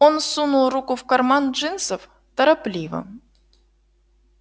он сунул руку в карман джинсов торопливо